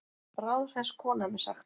Bráðhress kona er mér sagt.